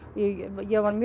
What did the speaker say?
ég var